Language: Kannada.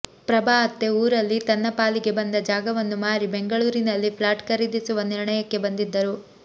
ಪ್ರಭಾ ಅತ್ತೆ ಊರಲ್ಲಿ ತನ್ನ ಪಾಲಿಗೆ ಬಂದ ಜಾಗವನ್ನು ಮಾರಿ ಬೆಂಗಳೂರಿನಲ್ಲಿ ಫ್ಲಾಟ್ ಖರೀದಿಸುವ ನಿರ್ಣಯಕ್ಕೆ ಬಂದಿದ್ದರು